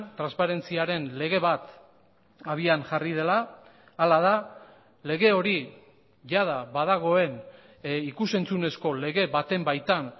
transparentziaren lege bat abian jarri dela hala da lege hori jada badagoen ikus entzunezko lege baten baitan